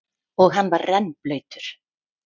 Og hann var rennblautur.